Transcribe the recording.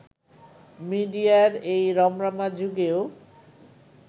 মিডিয়ার এই রমরমা যুগেও